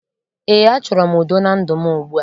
Ee, achọrọ m udo na ndụ m ugbua